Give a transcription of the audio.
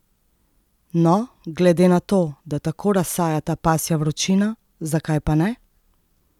No, glede na to, da tako razsaja ta pasja vročina, zakaj pa ne?